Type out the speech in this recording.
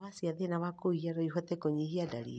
Ndawa cia thĩna wa kũhihia noihote kũnyihia ndariri